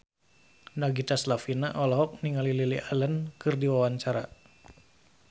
Nagita Slavina olohok ningali Lily Allen keur diwawancara